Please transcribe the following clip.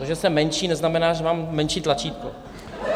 To, že jsem menší, neznamená, že mám menší tlačítko.